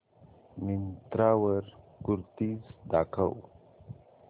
मिंत्रा वर कुर्तीझ दाखव